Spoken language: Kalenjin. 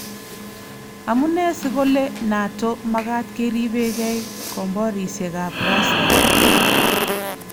Amunee si koleen NATO makat keribegei komboresiekab Russia ?